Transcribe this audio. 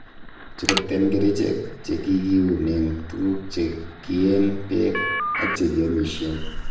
Churukten kerichek che kikiunen tuguk che kiyeen beek ak che kiomishen.